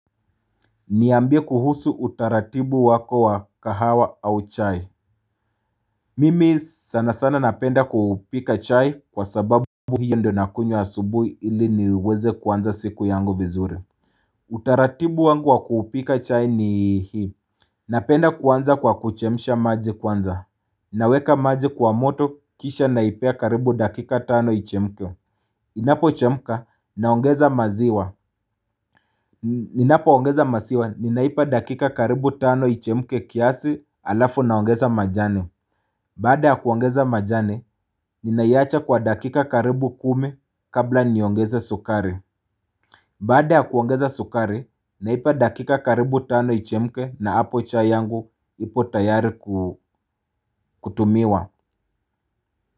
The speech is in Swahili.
Niambie kuhusu utaratibu wako wa kahawa au chai Mimi sana sana napenda kupika chai kwa sababu hiyo ndo nakunywa asubuhi ili niweze kuanza siku yangu vizuri Utaratibu wangu wa kupika chai ni hii Napenda kuanza kwa kuchemisha maji kwanza Naweka maji kwa moto kisha naipea karibu dakika tano ichemke Inapo chemka naongeza maziwa Ninapo ongeza masiwa, ninaipa dakika karibu tano ichemke kiasi alafu na ongeza majani Baada ya kuongeza majani, ninaiacha kwa dakika karibu kumi kabla niongeze sukari Baada ya kuongeza sukari, naipa dakika karibu tano ichemke na hapo chai yangu ipo tayari kutumiwa.